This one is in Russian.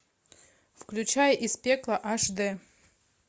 включай из пекла аш д